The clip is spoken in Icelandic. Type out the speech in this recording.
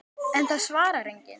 En það svarar enginn.